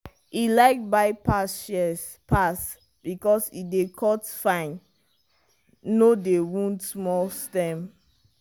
e like bypass shears pass because e dey cut fine no dey wound small stem.